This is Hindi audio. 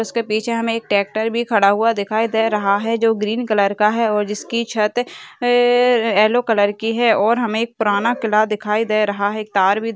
इसके पीछे हमे एक ट्रेक्टर भी खडा हुआ दिखाई दे रहा हे जो ग्रीन कलर का है और जिस की छत येलो कलर की है और हमे एक पुराना किला दिखाई दे रहा हे एक तार भी --